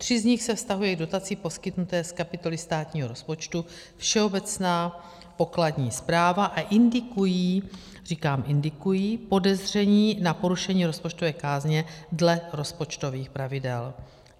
Tři z nich se vztahují k dotaci poskytnuté z kapitoly státního rozpočtu Všeobecná pokladní správa a indikují - říkám indikují - podezření na porušení rozpočtové kázně dle rozpočtových pravidel.